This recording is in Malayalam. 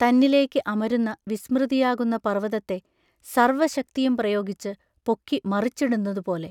തന്നിലേക്ക് അമരുന്ന വിസ്മൃതിയാകുന്ന പർവതത്തെ സർവശക്തിയും പ്രയോഗിച്ചു പൊക്കി മറിച്ചിടുന്നതുപോലെ......